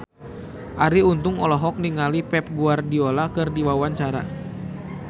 Arie Untung olohok ningali Pep Guardiola keur diwawancara